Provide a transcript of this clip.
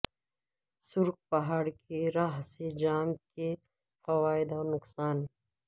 سرخ پہاڑ کی راھ سے جام کے فوائد اور نقصان